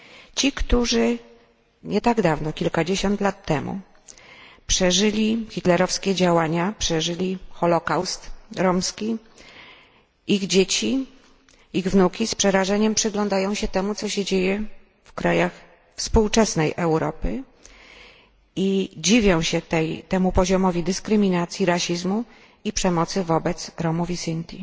Ci, którzy nie tak dawno przeżyli hitlerowskie działania, przeżyli holocaust romski, ich dzieci, ich wnuki z przerażeniem przyglądają się temu, co się dzieje w krajach współczesnej Europy i dziwią się temu poziomowi dyskryminacji, rasizmu i przemocy wobec Romów i Sinti,